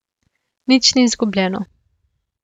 Nič ni izgubljeno.